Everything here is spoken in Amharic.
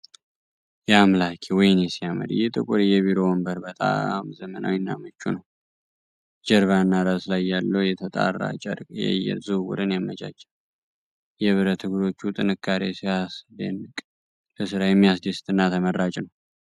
ያአምላኬ! ወይኔ ሲያምር! ይህ ጥቁር የቢሮ ወንበር በጣም ዘመናዊና ምቹ ነው። በጀርባና ራስ ላይ ያለው የተጣራ ጨርቅ የአየር ዝውውርን ያመቻቻል። የብረት እግሮቹ ጥንካሬ ሲያስደንቅ። ለስራ የሚያስደስት እና ተመራጭ ነው!